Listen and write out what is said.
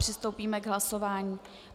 Přistoupíme k hlasování.